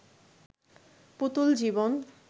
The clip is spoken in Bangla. পুতুল জীবন